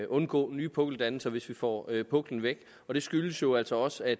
undgå nye pukkeldannelser hvis vi får puklen væk den skyldes jo altså også at